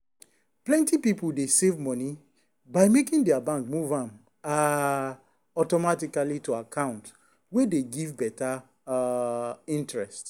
plenty people dey save money by making their bank move am um automatically to account wey dey give better um interest.